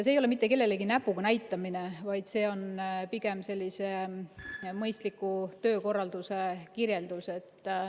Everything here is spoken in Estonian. See ei ole mitte kellelegi näpuga näitamine, vaid see on pigem mõistliku töökorralduse kirjeldus.